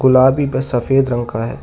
गुलाबी व सफेद रंग का है।